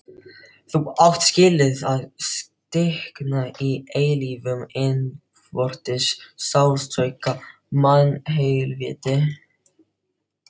Þú átt skilið að stikna í eilífum innvortis sársauka, mannhelvíti.